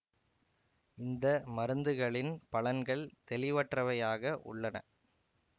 இந்த மருந்துகளின் பலன்கள் தெளிவற்றவையாக உள்ளன